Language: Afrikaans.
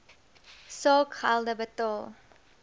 saak gelde betaal